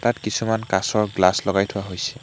তাত কিছুমান কাঁচৰ গ্লাচ লগাই থোৱা হৈছে।